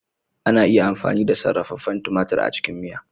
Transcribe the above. Ana iya amfani da sarrafefen tumatir a cikin miya.